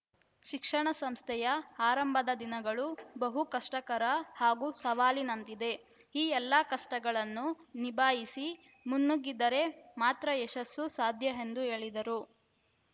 ಶಿಕ್ಷಣ ಸಂಸ್ಥೆಯ ಆರಂಭದ ದಿನಗಳು ಬಹು ಕಷ್ಟಕರ ಹಾಗೂ ಸವಾಲಿನಂತಿದೆ ಈ ಎಲ್ಲ ಕಷ್ಟಗಳನ್ನು ನಿಭಾಯಿಸಿ ಮುನ್ನುಗ್ಗಿದರೆ ಮಾತ್ರ ಯಶಸ್ಸು ಸಾಧ್ಯ ಎಂದು ಹೇಳಿದರು